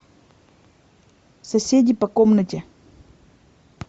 соседи по комнате